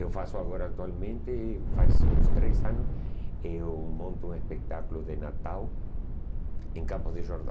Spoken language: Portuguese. Eu faço agora atualmente, faz uns três anos, eu monto um espetáculo de Natal em Campos de Jordão.